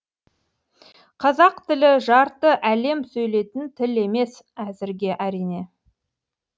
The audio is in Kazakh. қазақ тілі жарты әлем сөйлейтін тіл емес әзірге әрине